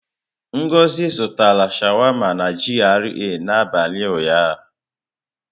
Ngozi zụtara sháwámá na GRA n'abalị ụnyaahụ.